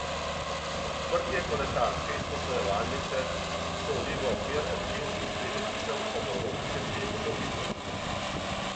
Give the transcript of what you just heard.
Odprtje kolesarske izposojevalnice sodi v okvir občinskih prireditev ob Evropskem tednu mobilnosti.